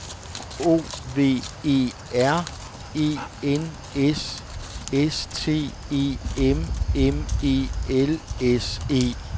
O V E R E N S S T E M M E L S E